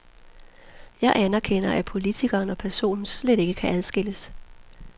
Jeg anerkender, at politikeren og personen slet ikke kan adskilles.